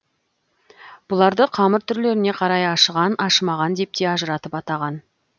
бұларды қамыр түрлеріне қарай ашыған ашымаған деп те ажыратып атаған